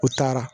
U taara